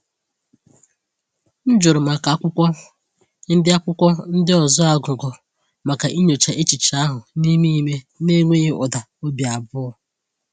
M jụrụ maka akwụkwọ ndị akwụkwọ ndị ọzọ a gụgụ maka inyocha echiche ahụ n’ime ime n’enweghị ụda obi abụọ.